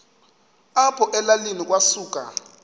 apho elalini kwasuka